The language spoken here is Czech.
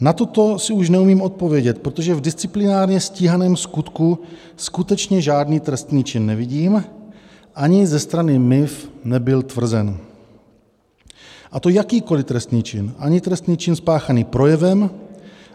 Na toto si už neumím odpovědět, protože v disciplinárně stíhaném skutku skutečně žádný trestný čin nevidím, ani ze strany MIV nebyl tvrzen, a to jakýkoli trestný čin - ani trestný čin spáchaný projevem,